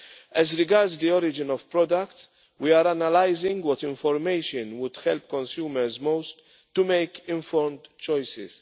As regards the origin of products, we are analysing what information would help consumers most to make informed choices.